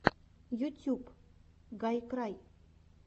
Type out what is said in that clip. ютюб гайкрай